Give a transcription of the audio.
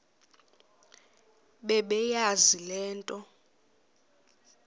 bebeyazi le nto